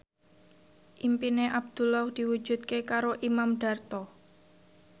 impine Abdullah diwujudke karo Imam Darto